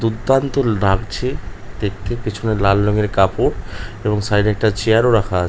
দুর্দান্ত লাগছে দেখতে পেছনে লাল রঙের কাপড় এবং সাইড -এ একটা চেয়ার -ও রাখা।